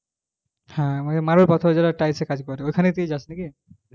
হ্যাঁ মানে marble পাথরে যারা tiles এর কাজ করে ওই খানে ই পেয়ে যাস নাকি